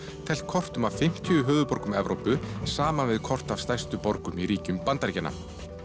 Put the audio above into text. teflt kortum af fimmtíu höfuðborgum Evrópu saman við kort af stærstu borgum í ríkjum Bandaríkjanna